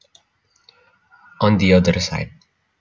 On the other side